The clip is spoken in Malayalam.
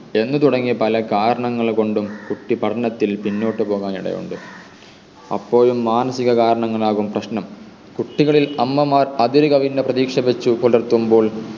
എന്നു തുടങ്ങി പലകാരണങ്ങൾ കൊണ്ടും കുട്ടി പഠനത്തിൽ പിന്നോട്ട് പോകാൻ ഇടയുണ്ട് അപ്പോഴും മാനസിക കാരണങ്ങൾ ആകും പ്രശ്‌നം കുട്ടികളിൽ അമ്മമാർ അതിരുകവിഞ്ഞ പ്രതീക്ഷ വെച്ചു പുലർത്തുമ്പോൾ